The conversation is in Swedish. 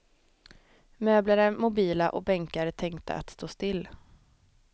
Möbler är mobila och bänkar är tänkta att stå still.